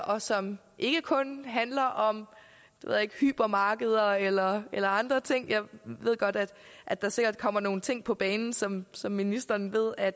og som ikke kun handler om hypermarkeder eller eller andre ting jeg ved godt at at der sikkert kommer nogle ting på banen som som ministeren ved at